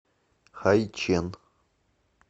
хайчэн